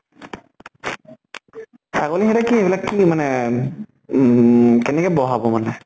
ছাগলী সিহঁতে কি এইবিলাক কি মানে । উম কেনেকে বহাব মানে